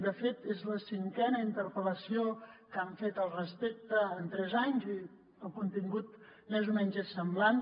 de fet és la cinquena interpel·lació que han fet al respecte en tres anys i el contingut més o menys és semblant